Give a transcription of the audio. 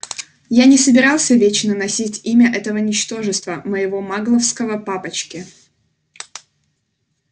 я не собирался вечно носить имя этого ничтожества моего магловского папочки